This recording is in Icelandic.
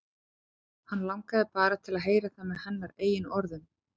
Hann langaði bara til að heyra það með hennar eigin orðum.